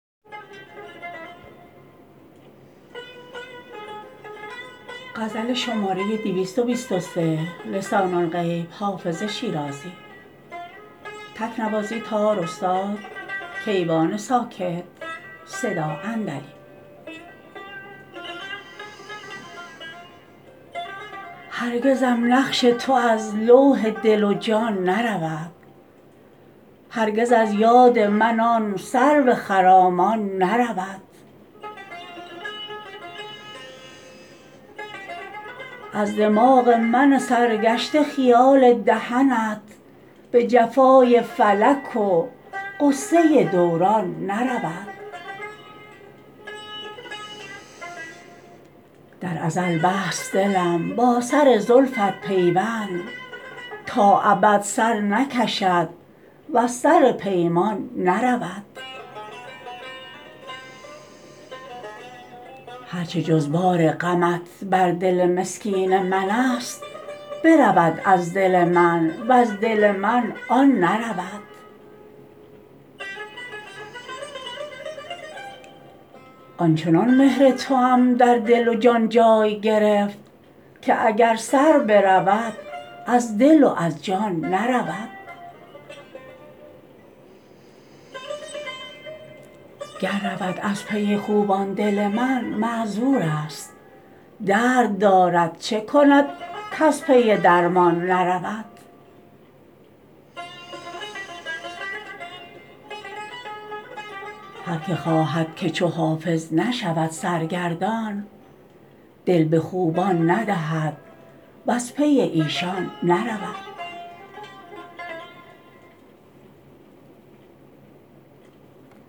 هرگزم نقش تو از لوح دل و جان نرود هرگز از یاد من آن سرو خرامان نرود از دماغ من سرگشته خیال دهنت به جفای فلک و غصه دوران نرود در ازل بست دلم با سر زلفت پیوند تا ابد سر نکشد وز سر پیمان نرود هر چه جز بار غمت بر دل مسکین من است برود از دل من وز دل من آن نرود آن چنان مهر توام در دل و جان جای گرفت که اگر سر برود از دل و از جان نرود گر رود از پی خوبان دل من معذور است درد دارد چه کند کز پی درمان نرود هر که خواهد که چو حافظ نشود سرگردان دل به خوبان ندهد وز پی ایشان نرود